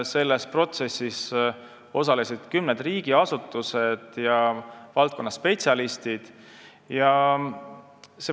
Selles protsessis osalesid kümned riigiasutused ja valdkonnaspetsialistid.